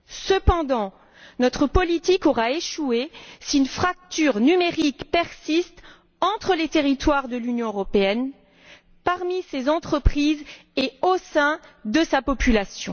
Cependant notre politique aura échoué si une fracture numérique persiste entre les territoires de l'Union européenne, parmi ses entreprises et au sein de sa population.